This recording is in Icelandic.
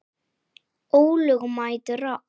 Ólögmæt árás.